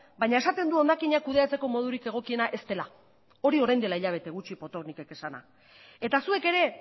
baina esaten du hondakinak kudeatzeko modurik egokiena ez dela hori orain dela hilabete gutxi potocnikek esana eta zuek ere